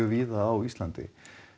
víða á Íslandi